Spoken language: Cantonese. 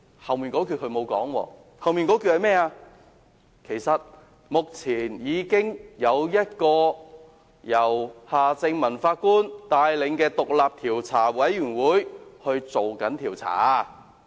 可是，他沒有說後半的情況，即目前已有一個由夏正民法官帶領的獨立調查委員會進行調查。